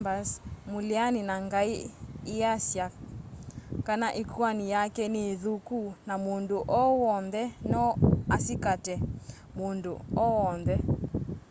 chambers mũleani na ngai easya kana ĩkũani yake nĩ ĩthũku na mũndũ o wonthe no asikate mũndũ o wonthe